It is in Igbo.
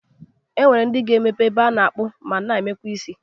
O nwere ndị ga-emepe ebe a na-akpụ ma na-emekwa isi.